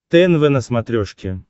тнв на смотрешке